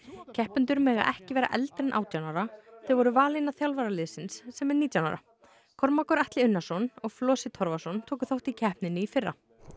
keppendur mega ekki vera eldri en átján ára þau voru valin af þjálfara liðsins sem er nítján ára Kormákur Atli Unnarsson og Flosi Torfason tóku þátt í keppninni í fyrra